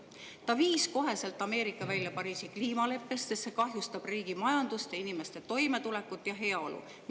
Ta viis koheselt Ameerika välja Pariisi kliimaleppest, sest see kahjustab riigi majandust ning inimeste toimetulekut ja heaolu.